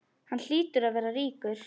Hann hlýtur að vera ríkur.